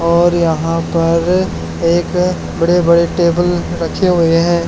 और यहां पर एक बड़े बड़े टेबल रखे हुए हैं।